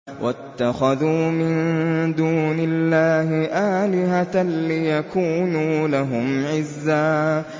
وَاتَّخَذُوا مِن دُونِ اللَّهِ آلِهَةً لِّيَكُونُوا لَهُمْ عِزًّا